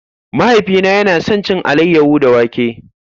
Mahaifina yana son cin alayyahu da wake.